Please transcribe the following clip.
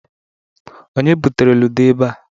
Onye butere ludo ebe a?